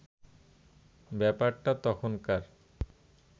ব্যাপারটা তখনকার